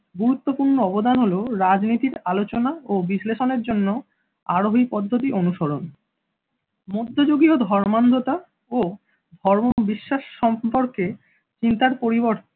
গুরুত্বপূর্ণ অবদান হলো রাজনৈতিক আলোচনা ও বিশ্লেষণ এর জন্য আরোহী পদ্ধতি অনুসরণ মধ্যযুগীয় ধর্মান্ধতা ও ধর্ম বিশ্বাস সম্পর্কে চিন্তার পরিবর্তন।